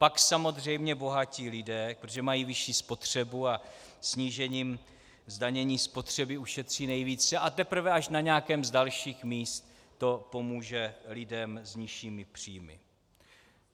Pak samozřejmě bohatí lidé, protože mají vyšší spotřebu a snížením zdanění spotřeby ušetří nejvíce, a teprve až na nějakém z dalších míst to pomůže lidem s nižšími příjmy.